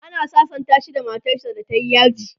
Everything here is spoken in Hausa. ana sasanta shi da matar sa da tayi yaji